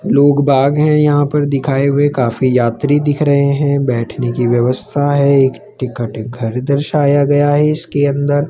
लोग बाग हैं यहां पर दिखाए हुए काफी यात्री दिख रहे हैं बैठने की व्यवस्था है एक टिकट घर दर्शाया गया है इसके अंदर।